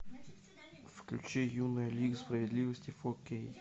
включи юная лига справедливости фо кей